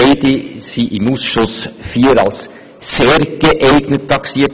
Beide wurden im Ausschuss IV als «sehr geeignet» taxiert.